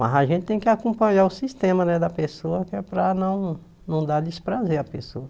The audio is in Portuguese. Mas a gente tem que acompanhar o sistema né da pessoa, que é para não não dar desprazer à pessoa.